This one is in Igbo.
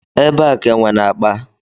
Ebe a ka enwe na-akpa